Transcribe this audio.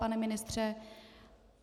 Pane ministře?